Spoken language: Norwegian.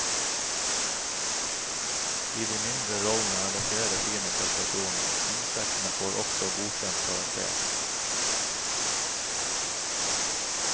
I de mindre rollene er det flere fine prestasjoner, insektene får også godkjent karakter.